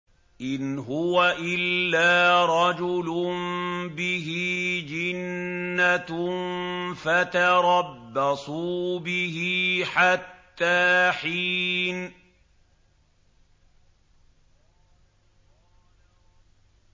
إِنْ هُوَ إِلَّا رَجُلٌ بِهِ جِنَّةٌ فَتَرَبَّصُوا بِهِ حَتَّىٰ حِينٍ